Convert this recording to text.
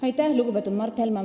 Aitäh, lugupeetud Mart Helme!